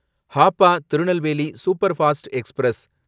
Hapa Tirunelveli superfast express